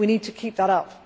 We need to keep that up.